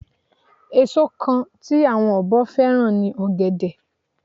Èso kan tí àwọn ọ̀bọ fẹ́ràn ni ọ̀gẹ̀dẹ̀